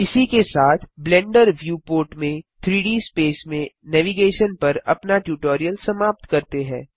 इसी के साथ ब्लेंडर व्यू पोर्ट में 3डी स्पेस में नेविगेशन पर अपना ट्यूटोरियल समाप्त करते हैं